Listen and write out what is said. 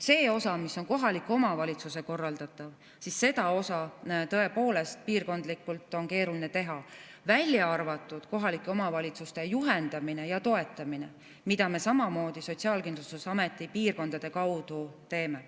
Seda osa, mis on kohaliku omavalitsuse korraldatav, on piirkondlikult tõepoolest keeruline teha, välja arvatud kohalike omavalitsuste juhendamine ja toetamine, mida me samamoodi Sotsiaalkindlustusameti piirkondade kaudu teeme.